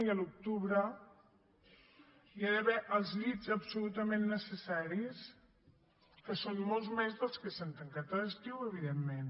i a l’octubre hi ha d’haver els llits absolutament necessaris que són molts més dels que s’han tancat a l’estiu evidentment